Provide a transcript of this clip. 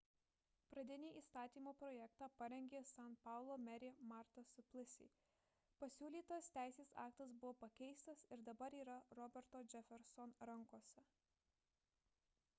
pradinį įstatymo projektą parengė san paulo merė marta suplicy pasiūlytas teisės aktas buvo pakeistas ir dabar yra roberto jefferson rankose